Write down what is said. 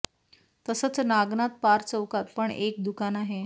तसंच नागनाथ पार चौकात पण एक दुकान आहे